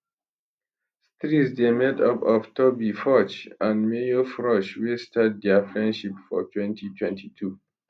streeze dey made up of toby forge and mayor frosh wey start dia friendship for 2022